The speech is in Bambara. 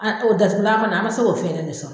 A o datugulan kɔni an ma se k'o fɛɛrɛ de sɔrɔ.